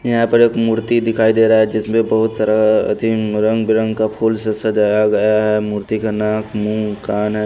यहां पर एक मूर्ति दिखाई दे रहा है जिसमें बहुत सारा रंग बिरंग का फूल से सजाया गया है मूर्ति का नाक मुँह कान।